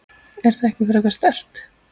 Er það ekki frekar sterkt?